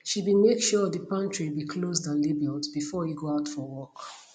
she be make sure de pantry be closed and labeled before e go out for work